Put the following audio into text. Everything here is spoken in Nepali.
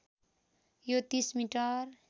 यो ३० मिटर